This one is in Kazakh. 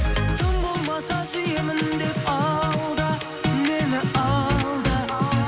тым болмаса сүйемін деп алда мені алда